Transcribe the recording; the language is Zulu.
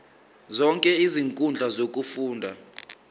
zonke izinkundla zokufunda